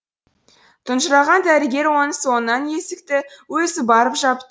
тұнжыраған дәрігер оның соңынан есікті өзі барып жапты